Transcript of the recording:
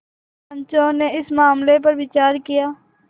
पंचो ने इस मामले पर विचार किया